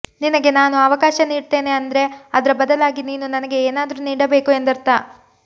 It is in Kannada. ನಿನಗೆ ನಾನು ಅವಕಾಶ ನೀಡ್ತೇನೆ ಅಂದ್ರೆ ಅದ್ರ ಬದಲಾಗಿ ನೀನು ನನಗೆ ಏನಾದ್ರೂ ನೀಡಬೇಕು ಎಂದರ್ಥ